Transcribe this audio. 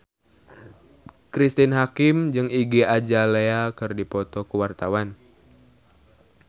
Cristine Hakim jeung Iggy Azalea keur dipoto ku wartawan